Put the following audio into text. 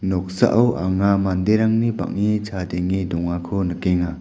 noksao anga manderangni bang·e chadenge dongako nikenga.